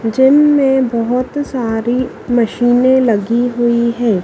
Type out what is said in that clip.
जिन में बहुत सारी मशीने लगी हुई है।